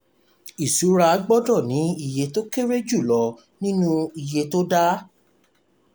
ìṣura gbọ́dọ̀ ní iye tó kéré jù lọ nínú iye to to dá.